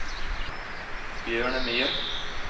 Bjørnemyr